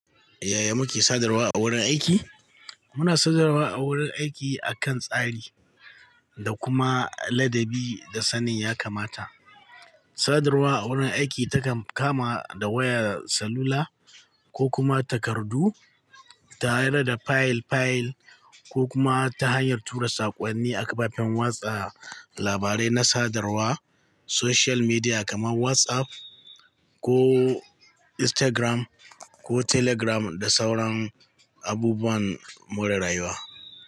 Yaya muke sadarwa a wurin aiki? Muna sadarwa a wurin aiki akan tsari da kuma ladabi da sanin ya kamata. Sadarwa a wurin aiki takan kama da wayar salula ko kuma takardu tare da file file ko kuma ta hanyar tura saƙonnin a kafafen watsa labarai na sadarwa, social media kaman WhatsApp ko Instagram ko Telegram da sauran abubuwan more rayuwa.